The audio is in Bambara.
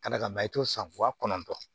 Ka da kan i t'o san wa kɔnɔntɔ